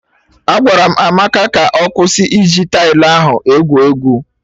Agwara m Amaka ka ọ kwụsị iji tailụ ahụ egwu egwu!